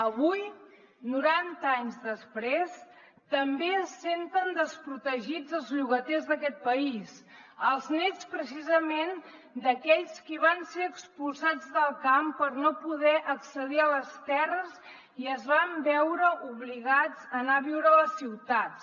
avui noranta anys després també es senten desprotegits els llogaters d’aquest país els nets precisament d’aquells qui van ser expulsats del camp per no poder accedir a les terres i es van veure obligats a anar a viure a les ciutats